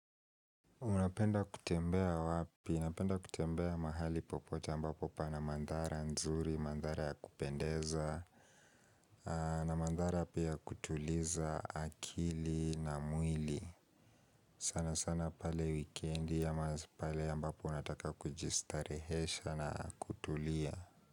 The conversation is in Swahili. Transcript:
Unapenda kutembea wapi? Napenda kutembea mahali popote ambapo pana mandhara nzuri, mandhara ya kupendeza. Na mandhara pia ya kutuliza akili na mwili. Sana sana pale wikendi ya ama pale ambapo nataka kujistarehesha na kutulia.